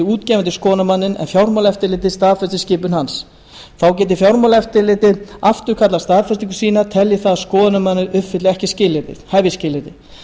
útgefandi skoðunarmanninn en fjármálaeftirlitið staðfesti skipun hans þá geti fjármálaeftirlitið afturkallað staðfestingu sína telji það að skoðunarmaður uppfylli ekki hæfisskilyrði